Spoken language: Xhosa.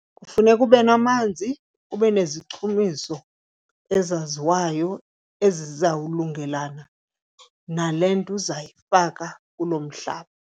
Kufuneka ube namanzi ube nezichumiso ezaziwayo ezizawulungelana nale nto uzayifaka kuloo mhlaba.